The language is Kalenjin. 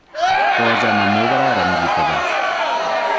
kocham amu kararan kitegen